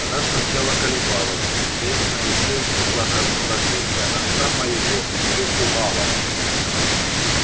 она сначала колебалась известное ей неблагорасположение отца моего её пугало